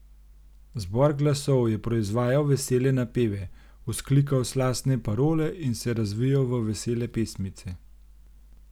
Zbor glasov je proizvajal vesele napeve, vzklikal slastne parole in se razvijal v vesele pesmice.